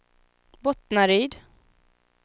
Bottnaryd